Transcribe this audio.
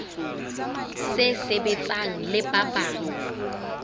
se sebetsang le ba bang